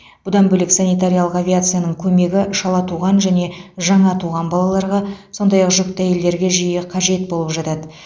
бұдан бөлек санитариялық авиацияның көмегі шала туған және жаңа туған балаларға сондай ақ жүкті әйелдерге жиі қажет болып жатады